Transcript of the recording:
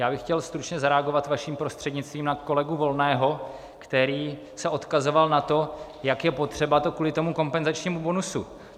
Já bych chtěl stručně zareagovat vaším prostřednictvím na kolegu Volného, který se odkazoval na to, jak je to potřeba kvůli tomu kompenzačnímu bonusu.